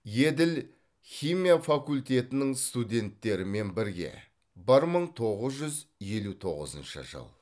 еділ химия факультетінің студенттерімен бірге бір мың тоғыз жүз елу тоғызыншы жыл